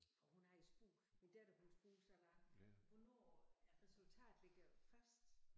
For hun havde spurgt min datter hun spurgte så mig hvornår resultatet ligger fast